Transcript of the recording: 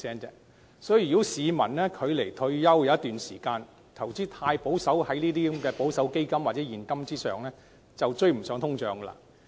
因此，如果市民距離退休尚有一段長時間，卻把大部分投資都放在保守基金或現金，這樣便會追不上通脹。